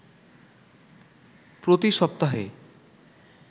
প্রতি সপ্তাহে